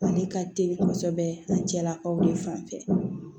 Ale ka teli kosɛbɛ ani cɛlakaw de fanfɛ